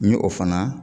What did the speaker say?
N ye o fana